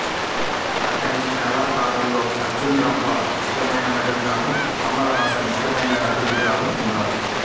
అతనికి కళాకారులలో అర్జున్ రాంపాల్ యిష్టమైన మోడల్ గానూ కమల్ హాసన్ యిష్టమైన నటునిగానూ ఉన్నారు